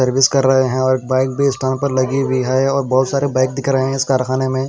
Service कर रहे हैं और बाइक भी पर लगी हुई है और बहुत सारे बैग दिख रहे हैं इस कारखाने में।